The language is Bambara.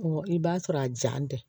i b'a sɔrɔ a jan tɛ